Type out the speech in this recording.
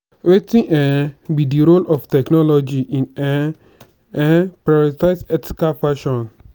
wetin um be di role of technology in um um prioritize ethical fashion?